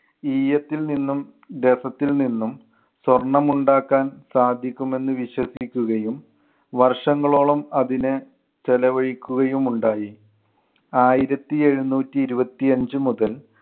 ഈയത്തിൽ നിന്നും രസത്തിൽ നിന്നും സ്വർണം ഉണ്ടാക്കാൻ സാധിക്കും എന്ന് വിശ്വസിക്കുകയും വർഷങ്ങളോളം അതിന് ചെലവഴിക്കുകയും ഉണ്ടായി. ആയിരത്തി എഴുന്നൂറ്റി ഇരുപത്തി അഞ്ച് മുതൽ